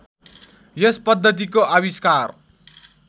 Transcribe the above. यस पद्धतिको आविष्कार